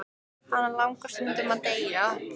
Hana langar stundum til að deyja.